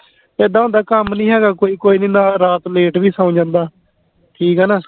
ਇੱਦਾਂ ਹੁੰਦਾ ਕੰਮ ਨਹੀਂ ਹੈਗਾ ਕੋਈ ਕੋਈ ਨੀ ਨਾਲ ਰਾਤ late ਵੀ ਸੋਂ ਜਾਂਦਾ ਕਿ ਕਹਿਣਾ